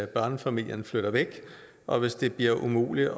børnefamilierne flytter væk og hvis det bliver umuligt at